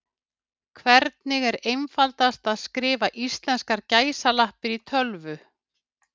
hvernig er einfaldast að skrifa íslenskar gæsalappir í tölvu